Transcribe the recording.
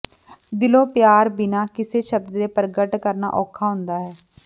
ਦਿਲੋਂ ਪਿਆਰ ਬਿਨਾਂ ਕਿਸੇ ਸ਼ਬਦ ਦੇ ਪ੍ਰਗਟ ਕਰਨਾ ਔਖਾ ਹੁੰਦਾ ਹੈ